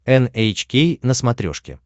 эн эйч кей на смотрешке